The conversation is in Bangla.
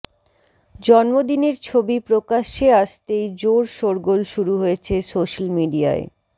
জন্মদিনের ছবি প্রকাশ্যে আসতেই জোর শোরগোল শুরু হয়েছে সোশ্যাল মিডিয়ায়